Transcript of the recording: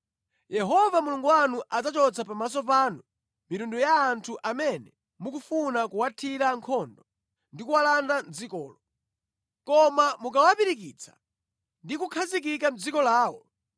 Yehova Mulungu wanu adzachotsa pamaso panu mitundu ya anthu amene mukufuna kuwathira nkhondo ndi kuwalanda dzikolo. Koma mukawapirikitsa ndi kukhazikika mʼdziko lawo,